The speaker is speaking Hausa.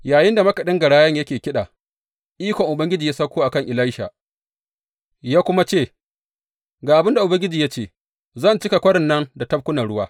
Yayinda makaɗin garayan yake kiɗa, ikon Ubangiji ya sauko a kan Elisha ya kuma ce, Ga abin da Ubangiji ya ce, zan cika kwarin nan da tafkunan ruwa.